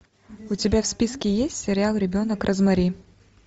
у тебя в списке есть сериал ребенок розмари